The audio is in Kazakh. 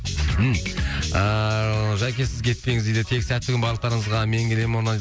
ммм ыыы жәке сіз кетпеңіз дейді тек сәтті күн барлықтарыңызға мен келемін